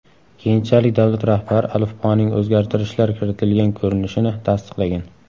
Keyinchalik davlat rahbari alifboning o‘zgartirishlar kiritilgan ko‘rinishini tasdiqlagan.